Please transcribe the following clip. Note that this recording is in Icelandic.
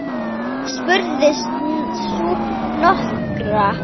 spurði sú norska.